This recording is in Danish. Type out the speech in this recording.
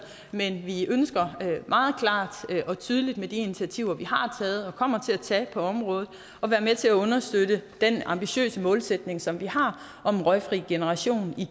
men vi ønsker meget klart og tydeligt med de initiativer vi har taget og kommer til at tage på området at være med til at understøtte den ambitiøse målsætning som vi har om en røgfri generation i